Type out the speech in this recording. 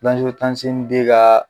ka